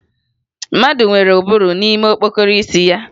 Mmadụ nwere ụbụrụ n'ime okpokoro isi ya